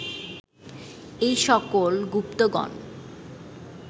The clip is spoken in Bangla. এই সকল গুপ্তগণ